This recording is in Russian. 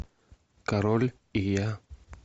король и я